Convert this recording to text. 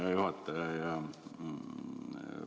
Hea juhataja!